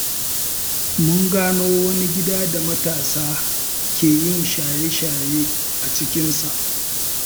Mun gano wani gida da matasa ke yin shaye-shaye a cikinsa.